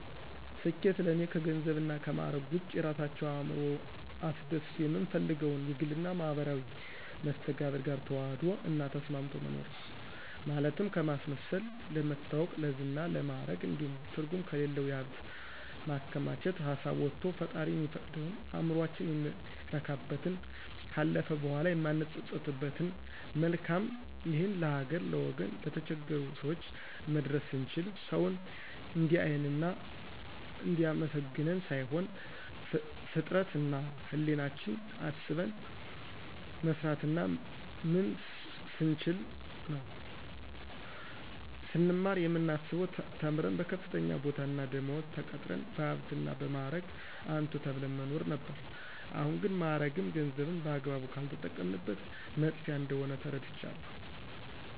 ስኬት ለእኔ ከገንዘብና ከማዕረግ ውጭ የራሳችን እዕምሮ አስደስቶ የምንፈልገውን የግልና የማህበራዊ መስተጋብር ጋር ተዋህዶ እና ተስማምቶ መኖር ነው። ማለትም ከማስመሰል፣ ለመታወቅ፣ ለዝና፣ ለማዕረግ እንዲሁም ትርጉም ከሌለው የሀብት ማከማቸት ሀሳብ ወቶ ፈጣሪ የሚፈቅደውን፣ እዕምሮአችን የሚረካበትን፣ ካለፈ በኋላ የማንጸጸትበትን መልካም ይህን ለሀገር፣ ለወገን፣ ለተቸገሩ ሰወች መድረስ ስንችል፣ ሰውን እንዲአየን እና እንዲአመሰግነን ሳይሆን ፍጥረት እና ህሌናችን አስበን መስራትና ምንስ ስንችል ነው። ስንማር የምናስበው ተምረን በከፍተኛ ቦታና ደመወዝ ተቀጥረን በሀብትና እና በማዕረግ አንቱ ተብለን መኖር ነበር አሁን ግን ማዕረግም ገንዘብም በአግባቡ ካልተጠቀምንበት መጥፊያ እንደሆነ ተረድቻለሁ።